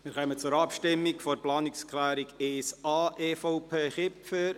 Wir kommen zur Abstimmung über die Planungserklärung 1a, EVP, Kipfer.